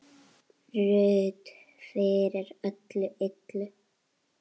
Ruth fyrir öllu illu.